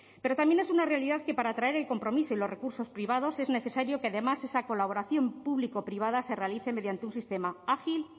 pero también es una realidad que para atraer el compromiso y los recursos privados es necesario que además esa colaboración público privada se realice mediante un sistema ágil